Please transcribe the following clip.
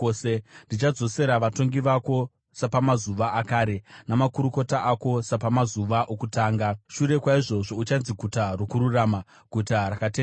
Ndichadzosera vatongi vako sapamazuva akare, namakurukota ako sapamazuva okutanga. Shure kwaizvozvo uchanzi Guta Rokururama, Guta Rakatendeka.”